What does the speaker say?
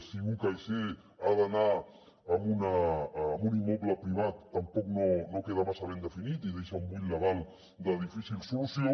si un caixer ha d’anar en un immoble privat tampoc no queda massa ben definit i deixa un buit legal de difícil solució